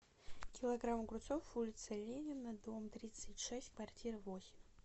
килограмм огурцов улица ленина дом тридцать шесть квартира восемь